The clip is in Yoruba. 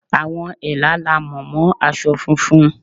Àwọn Ẹ̀là la mọ̀ mọ́ aṣọ funfun.